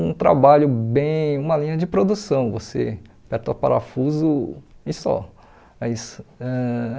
um trabalho bem, uma linha de produção, você aperta o parafuso e só. Mas ãh